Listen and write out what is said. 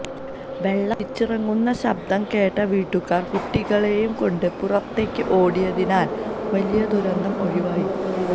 വെള്ളം ഒലിച്ചിറങ്ങുന്ന ശബ്ദം കേട്ട വീട്ടുകാര് കുട്ടികളെയും കൊണ്ട് പുറത്തേക്ക് ഓടിയതിനാല് വലിയ ദുരന്തം ഒഴിവായി